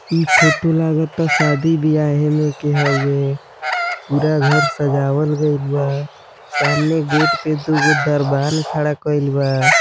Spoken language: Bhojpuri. इ फोटो लागता शादी बियाह एमें क हुउए पूरा घर सजावल गएल बा सामने गेट पे दुगो दरबान खड़ा कईल बा।